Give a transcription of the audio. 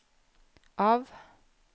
av